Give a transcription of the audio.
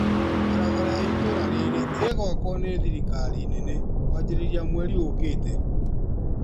Barabara ya itũra rĩrĩ ĩgwakwo nĩ thirikari nene kwanjĩrĩria mweri ukĩte